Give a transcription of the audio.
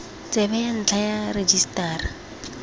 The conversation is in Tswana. tsebe ya ntlha ya rejisetara